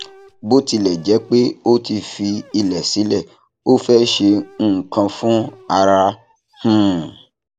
bó tilẹ jẹ pé ó ti fi ilẹ silẹ ó fẹ ṣe nnkan fún ará um